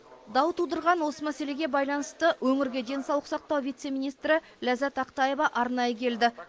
дау тудырған осы мәселеге байланысты өңірге денсаулық сақтау вице министрі ләззат ақтаева арнайы келді